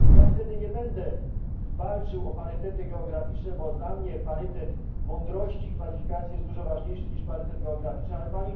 Wtedy nie będę walczył o parytety geograficzne, bo dla mnie parytet mądrości i kwalifikacji jest dużo ważniejszy niż parytet geograficzny, ale Pani musi to udowodnić.